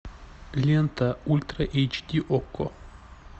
лента ультра эйч ди окко